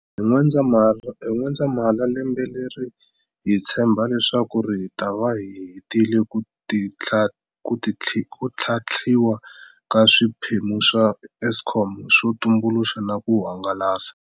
Hi N'wendzamhala lembe leri hi tshemba leswaku hi ta va hi hetile ku tlhantlhiwa ka swiphemu swa Eskom swo tumbuluxa na ku hangalasa.